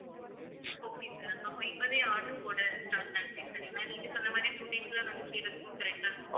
okay sir அப்ப இப்பவே order போட start ஆகுறேன் sir ஏன்னா நீங்க சொன்ன மாதிரி two days ல வந்து சேர்றதுக்கும் correct ஆ இருக்கும்